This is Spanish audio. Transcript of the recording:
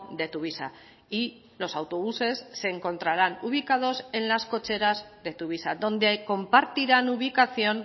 de tuvisa y los autobuses se encontrarán ubicados en las cocheras de tuvisa donde compartirán ubicación